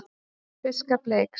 Fiskafli eykst